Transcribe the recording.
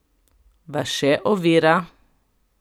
Vas še ovira?